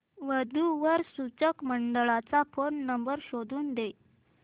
वधू वर सूचक मंडळाचा फोन नंबर शोधून दे